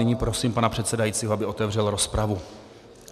Nyní prosím pana předsedajícího, aby otevřel rozpravu.